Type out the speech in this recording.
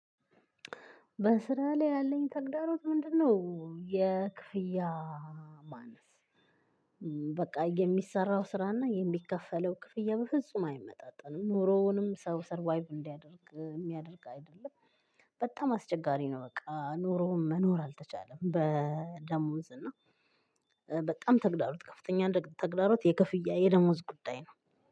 በስራ ላይ ያለኝ ተግዳሮት ምንድ ነው፣ የክፍያ ማነስ በቃ የሚሰራው ስራና የሚከፈለው ክፍያ በፍጹም አይመጣጥንም። ኑሮውንም ሰው ሰርቫይቭ እንዲያደርግ የሚያደርግ አይደለም በጣም አስቸጋሪ ነው በቃ። ኖሮውን መኖር አልተቻለም በደሞዝ እና በጣም ተግዳሮት ከፍተኛ ተግዳሮት የክፍያ የደሞዝ ጉዳይ ነው።